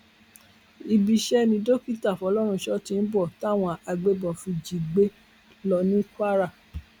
ibi iṣẹ ni dókítà fọlọrunṣọ tí ń bọ táwọn agbébọn fi jí i gbé lọ ní kwara